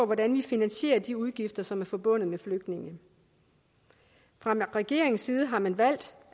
hvordan vi finansierer de udgifter som er forbundet med flygtninge fra regeringens side har man valgt